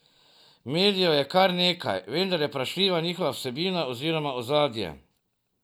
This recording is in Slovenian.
Medijev je kar nekaj, vendar je vprašljiva njihova vsebina oziroma ozadje.